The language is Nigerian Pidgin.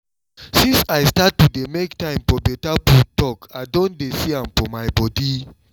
since i start to dey make time for better food talk i don dey see am for my body